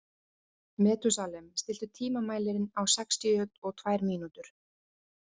Methúsalem, stilltu tímamælinn á sextíu og tvær mínútur.